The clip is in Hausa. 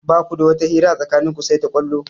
Ba ku da wata hira a tsakanin ku sai ta ƙwallo.